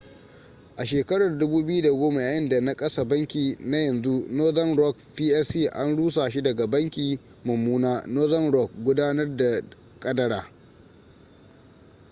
a 2010 yayinda na kasa banki na yanzu northern rock plc an rusa shi daga ‘banki mummuna’ northern rock gudanar da kadara